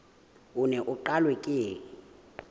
o neng o qalwe ka